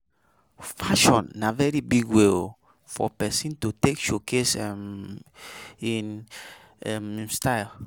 Fashion na very big way um for persin to take showcase um in um style